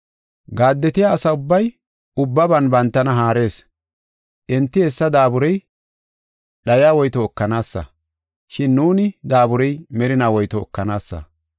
Gaaddetiya asa ubbay ubbaban bantana haarees. Enti hessa daaburey dhayiya woyto ekanaasa. Shin nuuni daaburey merina woyto ekanaasa.